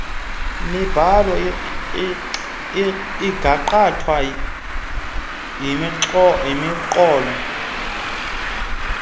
mibhalo ingakhatshwa yimiqolo